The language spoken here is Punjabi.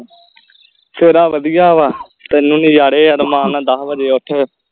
ਤੇਰਾ ਆ ਵਧੀਆ ਵਾ ਥੋਨੂੰ ਨਜਾਰੇ ਆ ਰਮਾਣ ਨਾਲ ਦੱਸ ਵਜੇ ਉੱਠ